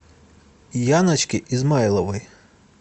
яночке измайловой